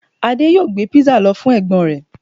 Ade yoo gbé pizza lọ fún ẹ̀gbọ́n rẹ̀